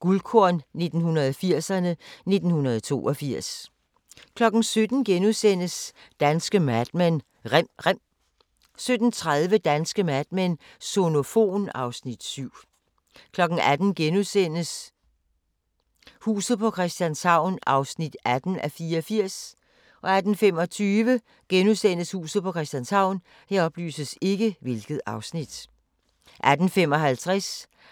Guldkorn 1980'erne: 1982 * 17:00: Danske Mad Men: Rem rem * 17:30: Danske Mad Men: Sonofon (Afs. 7) 18:00: Huset på Christianshavn (18:84)* 18:25: Huset på Christianshavn * 18:55: